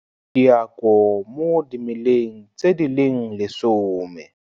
Diako mo dimeleng tse di leng lesome